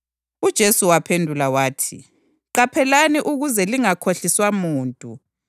UJesu waphendula wathi, “Qaphelani ukuze lingakhohliswa muntu.